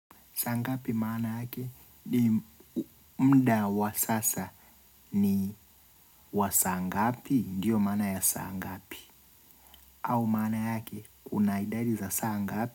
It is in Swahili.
Saa ngapi maana yake ni mda wa sasa ni wa saa ngapi diyo maana ya saa ngapi. Au maana yake una idadi za saa ngapi.